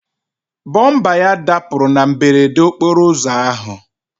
Bọmba ya dapụrụ na mberede okporo ụzọ ahụ.